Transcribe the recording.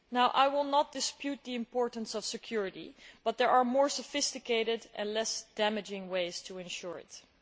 I will not dispute the importance of security, but there are more sophisticated and less damaging ways to ensure it.